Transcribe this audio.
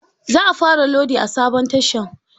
Za a fara lodi a sabon tashan.